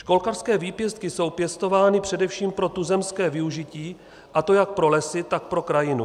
Školkařské výpěstky jsou pěstovány především pro tuzemské využití, a to jak pro lesy, tak pro krajinu.